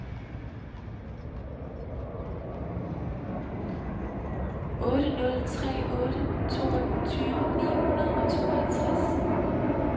otte nul tre otte toogtyve ni hundrede og tooghalvtreds